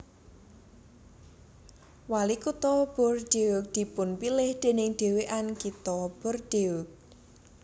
Walikutha Bordeaux dipunpilih déning Dhéwan Kitha Bordeaux